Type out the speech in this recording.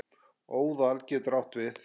Óðal getur átt við